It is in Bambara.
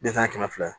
Den san kɛmɛ fila